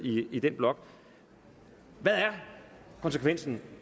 i den blok hvad er konsekvensen